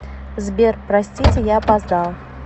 сбер простите я опоздал